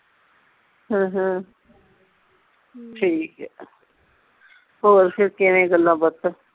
ਹਾਂ ਹਾਂ ਠੀਕ ਆ ਹੋਰ ਫਿਰ ਕਿਵੇਂ ਗੱਲਾਂ ਬਾਤਾਂ